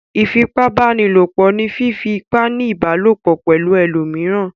Ìfipábánilòpọ̀ ni fífí ipá ní ìbálòpọ̀ pẹ̀lú ẹlòmíràn.